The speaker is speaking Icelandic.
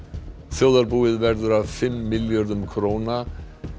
þjóðarbúið verður af fimm milljörðum króna